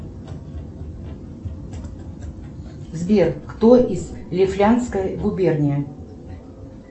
сбер кто из лифляндской губернии